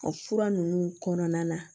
O fura ninnu kɔnɔna na